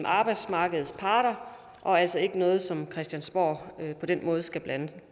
arbejdsmarkedets parter og altså ikke noget som christiansborg på den måde skal blande